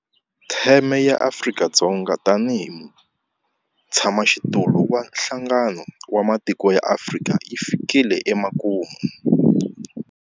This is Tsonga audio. Theme ya Afrika-Dzonga tanihi mutshamaxitulu wa Nhlangano wa Matiko ya Afrika yi fikile emakumu.